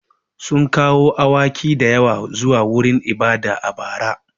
Sun kawo awaki da yawa zuwa wurin ibada a bara.